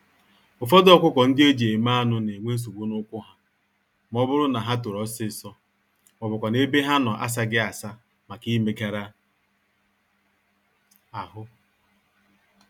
Ụfọdụ ọkụkọ-ndị-eji-eme-anụ n'enwe nsogbu n'ụkwụ ha, mọbụrụ na ha tòrò ọsịsọ, mọbụkwanụ̀ ebe ha nọ asaghị-asa màkà imegàrà ahụ.